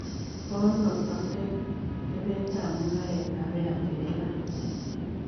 Konoo atetebeetap mung'aretap airtel ra